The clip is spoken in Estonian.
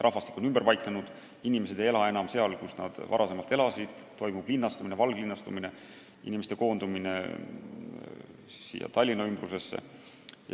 Rahvastik on ümber paiknenud, inimesed ei ela enam seal, kus nad varem elasid, toimub linnastumine, valglinnastumine, inimeste koondumine siia Tallinna ümbrusesse.